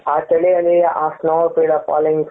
ಆ ಚಳಿಯಲ್ಲಿ snow ಬೀಳೋ fallings ಉ